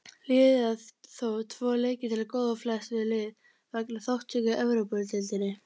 Liðið á þó tvo leiki til góða á flest lið vegna þátttöku í Evrópudeildinni.